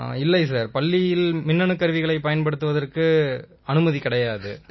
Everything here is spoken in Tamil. இல்லை சார் பள்ளியில் மின்னணுக் கருவிகளைப் பயன்படுத்துவதற்கு அனுமதி கிடையாது சார்